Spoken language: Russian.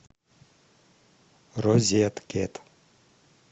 розеткед